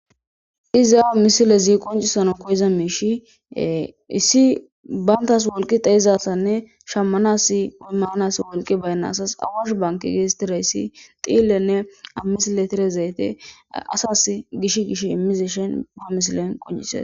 iza misilezi qoncisano koyiza miishie issi bayntas wolqi dayizassanne shammanas manas wolqi baynna asas awash banki geetettirayssi xiillenne ammisile tire zayte asas gish gish immize shen ba misilen quncises